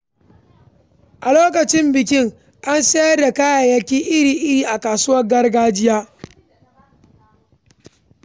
A lokacin bikin, an sayar da kayayyaki iri-iri a kasuwar gargajiya.